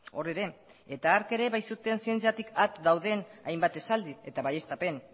hor ere eta hark ere bai zuten zientziatik at dauden hainbat esaldi eta baieztapen